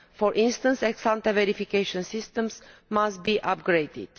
For instance, ex ante verification systems must be upgraded.